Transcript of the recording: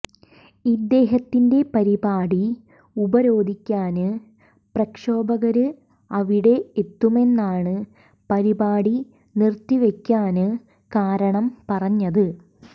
ഇദ്ദേഹത്തിന്റെ പരിപാടി ഉപരോധിക്കാന് പ്രക്ഷോഭകര് അവിടെ എത്തുമെന്നാണ് പരിപാടി നിര്ത്തിവെക്കാന് കാരണം പറഞ്ഞത്